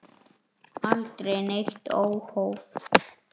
Aldrei neitt óhóf.